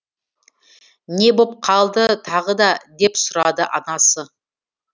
не боп қалды тағы да деп сұрады анасы